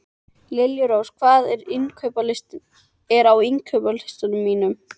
Liljurós, hvað er á innkaupalistanum mínum?